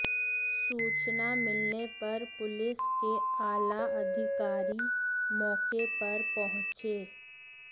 सूचना मिलने पर पुलिस के आला अधिकारी मौके पर पहुॅचे